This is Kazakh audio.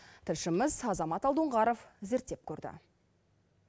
тілшіміз азамат алдоңғаров зерттеп көрді